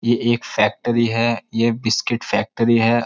ये एक फैक्ट्री है ये बिस्किट फैक्ट्री है।